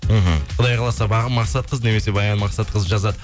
мхм құдай қаласа бағым мақсатқызы немесе баян мақсатқызы жазады